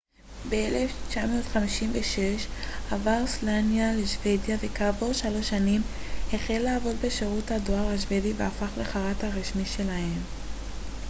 ב-1956 עבר סלאניה לשוודיה וכעבור שלוש שנים החל לעבוד בשירות הדואר השוודי והפך לחרט הראשי שלהם